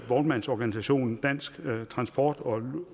vognmandsorganisationen dansk transport og